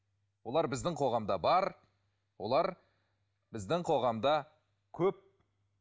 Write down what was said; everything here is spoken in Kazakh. олар біздің қоғамда бар болар біздің қоғамда көп